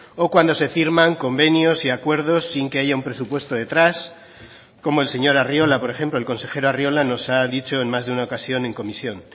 o cuando se firman convenios y acuerdos sin que haya un presupuesto detrás como el señor arriola por ejemplo el consejero arriola nos ha dicho en más de una ocasión en comisión